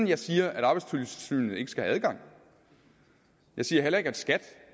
jeg siger at arbejdstilsynet ikke skal have adgang jeg siger heller ikke at skat